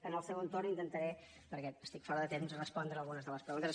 en el segon torn intentaré perquè estic fora de temps respondre algunes de les preguntes